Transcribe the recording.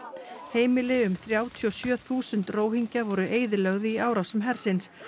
heimili um þrjátíu og sjö þúsund voru eyðilögð í árásum hersins